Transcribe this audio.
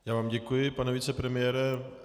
Já vám děkuji, pane vicepremiére.